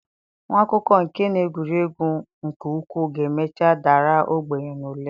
Nwa akwụkwọ nke na-egwuri egwu nke ukwuu ga-emecha dara ogbenye n'ule.